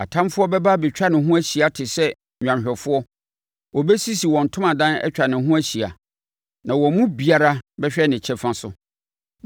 Atamfoɔ bɛba abɛtwa ne ho ahyia te sɛ nnwanhwɛfoɔ; wɔbɛsisi wɔn ntomadan atwa ne ho ahyia na wɔn mu biara bɛhwɛ ne kyɛfa so.”